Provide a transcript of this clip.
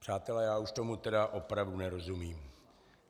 Přátelé, já už tomu tedy opravdu nerozumím.